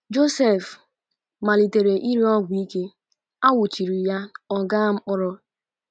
Joseph malitere ire ọgwụ ike, a nwụchiri ya,ọ gaa mkpọrọ.